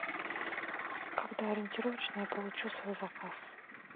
когда ориентировочно я получу свой заказ